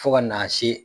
Fo ka n'a se